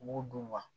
U b'o dun wa